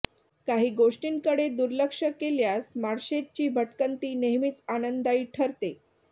काहि गोष्टींकडे दुर्लक्ष केल्यास माळशेजची भटकंती नेहमीच आनंददायी ठरते